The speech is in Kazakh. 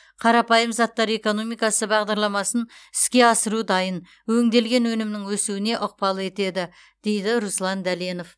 қарапайым заттар экономикасы бағдарламасын іске асыру дайын өңделген өнімнің өсуіне ықпал етеді дейді руслан дәленов